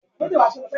yio ra epo bẹntiroolu?